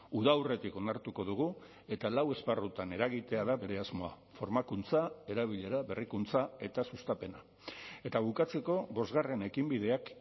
uda aurretik onartuko dugu eta lau esparrutan eragitea da bere asmoa formakuntza erabilera berrikuntza eta sustapena eta bukatzeko bosgarren ekinbideak